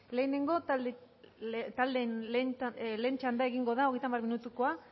lehenengo taldeen lehen txanda egingo da hogeita hamar minutukoa